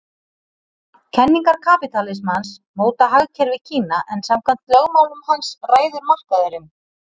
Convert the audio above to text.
Kenningar kapítalismans móta hagkerfi Kína en samkvæmt lögmálum hans ræður markaðurinn.